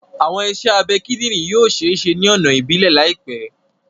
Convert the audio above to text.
Awọn iṣẹ abẹ kidinrin yoo ṣee ṣe ni ọna ibilẹ laipẹ